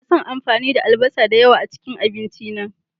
Ina son amfani da albasa da yawa a cikin abinci na.